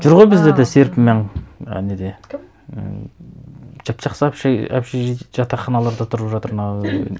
жүр ғой бізде де серпінмен і неде кім ііі жап жақсы общежитие жатақханаларда тұрып жатыр мынау